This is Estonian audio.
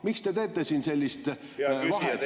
Miks te teete siin sellist vahet?